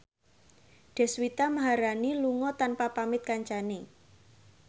Deswita Maharani lunga tanpa pamit kancane